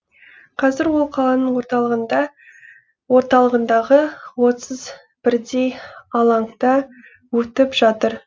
қазір ол қаланың орталығындағы отыз бірдей алаңда өтіп жатыр